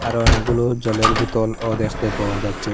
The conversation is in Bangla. আরও অনেকগুলো জলের বোতলও দেখতে পাওয়া যাচ্ছে।